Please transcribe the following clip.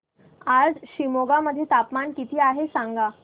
आज शिमोगा मध्ये तापमान किती आहे सांगा